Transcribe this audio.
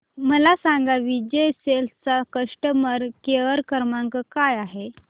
मला सांगा विजय सेल्स चा कस्टमर केअर क्रमांक काय आहे